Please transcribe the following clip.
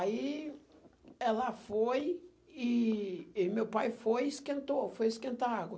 Aí ela foi e e meu pai foi e esquentou, foi esquentar água.